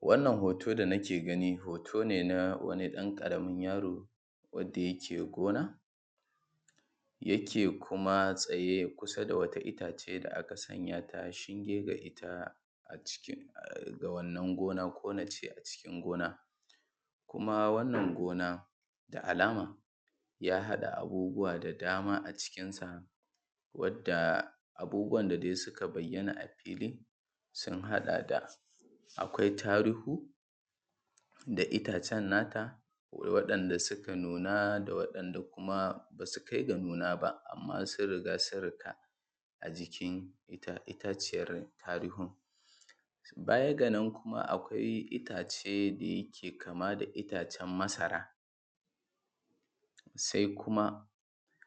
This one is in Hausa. Wannan hoto dana ke gani hoto ne na wani ɗan ƙaramin yaro, wanda yake gona, yake kuma tsaye kusa da wata itace da aka sanyata shinge ga ita a cikin ga wannan gona ko nace a cikin gona kuma wannan gona da alama ya haɗa abubuwa da dama acikin sa, wanda dai abubuwan da suka bayyana a fili sun haɗa da akwai taruhu da itacen nata, akwai waɗanda suka nuna da waɗanda kuma basu kai ga nuna ba amma sun riga sun riƙa a jikin ita itaciyar tarihun. Baya ga nan kuma akwai itace da yake kama da itacen masara, sai kuma